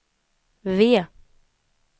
V